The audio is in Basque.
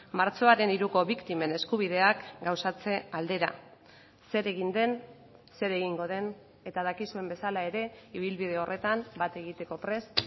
martxoaren hiruko biktimen eskubideak gauzatze aldera zer egin den zer egingo den eta dakizuen bezala ere ibilbide horretan bat egiteko prest